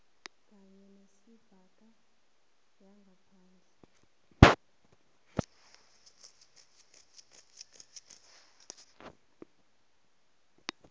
kanye nezebhanka yangaphandle